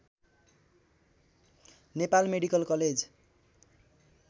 Nepal medical college